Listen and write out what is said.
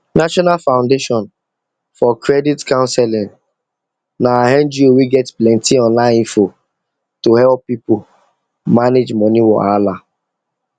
national foundation for credit counseling na ngo wey get plenty online info to help people manage money wahala